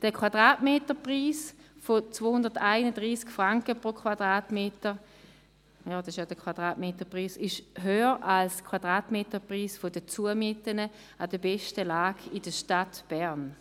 Der Quadratmeterpreis in der Höhe von 231 Franken ist höher als der Quadratmeterpreis der Zumieten an der besten Lage in der Stadt Bern.